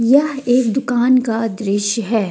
यह एक दुकान का दृश्य है।